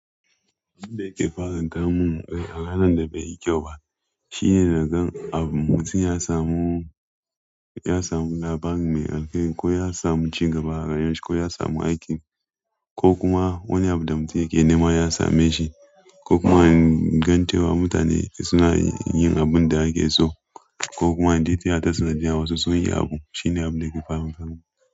Abunda yake fara kawo min a ranan da baiyi kyau ba shine nagan abu mutum ya samu, ya samu labari mai alkhairi ko ya samu cigaba a rayuwar shi ko ya samu aikin ko kuma wani abu da mutum yake nema ya same shi ko kuma in gan cewa mutane suna yin abunda ake so ko kuma in je tiyata sanadiyan wasu sun yi abu shine abunda ke faran tamin.